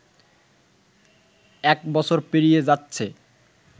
এক বছর পেরিয়ে যাচ্ছে